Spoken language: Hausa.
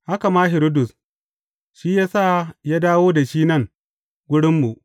Haka ma Hiridus, shi ya sa ya dawo da shi nan wurinmu.